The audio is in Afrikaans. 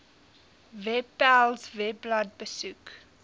webpals webblad besoek